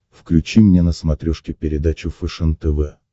включи мне на смотрешке передачу фэшен тв